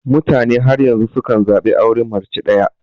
Mutane har yanzu sukan zaɓi auren mace daya.